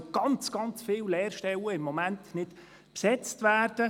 Es können im Moment sehr viele Lehrstellen nicht besetzt werden.